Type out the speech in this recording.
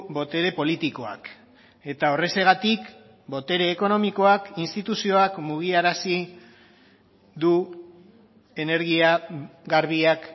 botere politikoak eta horrexegatik botere ekonomikoak instituzioak mugiarazi du energia garbiak